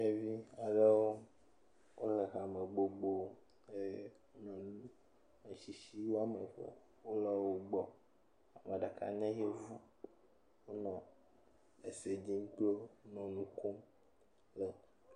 Ɖevi aɖewo wò le hame gbogbo eye nyɔnu ametsitsi woame eve, wo le wo gbɔ, ameɖeka nye yevu, wò nɔ ese dzim kpli wo le nu kom.